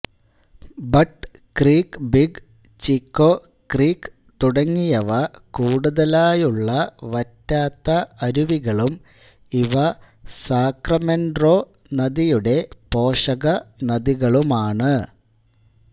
but Creek Big Chico Creek തുടങ്ങിയവ കൂടുതലായുള്ള വറ്റാത്ത അരുവികളും ഇവ സാക്രമെൻറോ നദിയുടെ പോഷകനദികളുമാണ്